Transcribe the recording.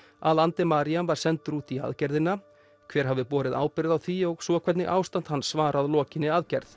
að Andemariam var sendur út í aðgerðina hver hafi borið ábyrgð á því og svo hvernig ástand hans var að lokinni aðgerð